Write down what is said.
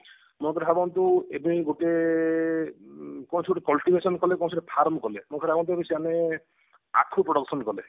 ମନେକର ଭାବନ୍ତୁ ଏବେ ଗୋଟେ ଉଁ କୌଣସି ଗୋଟେ କଲେ କୌଣସି ଗୋଟେ farm କଲେ ମୋ କହିବା କଥା ଯଦି ସେମାନେ ଆଖୁ production କଲେ